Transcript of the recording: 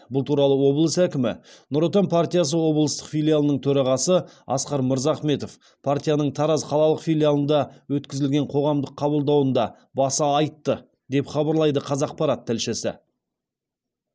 бұл туралы облыс әкімі нұр отан партиясы облыстық филиалының төрағасы асқар мырзахметов партияның тараз қалалық филиалында өткізген қоғамдық қабылдауында баса айтты деп хабарлайды қазақпарат тілшісі